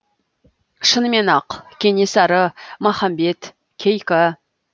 шынымен ақ кенесары махамбет кейкі